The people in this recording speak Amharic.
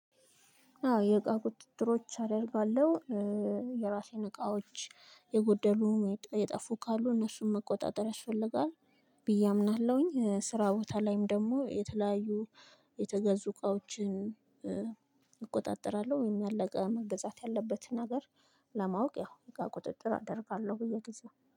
አዎ የእቃ ቁጥጥሮች አደርጋለሁ። የራሴን እቃዎች የጎደሉ የጠፉ ካሉ እነሱን መቆጣጠር ያስፈልጋል። ብዬ አምናለሁኝ ስራ ቦታ ላይም ደግሞ የተለያዩ የተገዙ እቃዎችን። እቆጣጠራለሁ ወይም ያለቀ መገዛት ያለበትን ነገር ለማወቅ ያው እቃ ቁጥጥር አደርጋለሁ ብየ ጊዜው